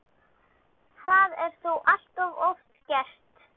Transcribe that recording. Það er þó allt of oft gert.